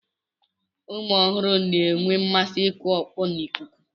Ụmụ ọhụrụ na-enwe mmasị ịkụ ọkpọ n'ikuku.